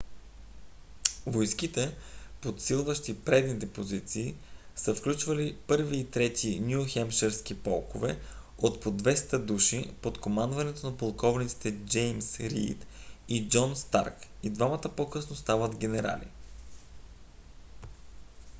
войските подсилващи предните позиции са включвали 1-ви и 3-ти ню хемпширски полкове от по 200 души под командването на полковниците джеймс рийд и джон старк и двамата по-късно стават генерали